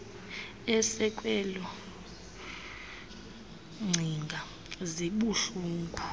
esekwezo ngcinga zibuhlungu